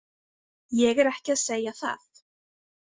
Ég er ekki að segja það.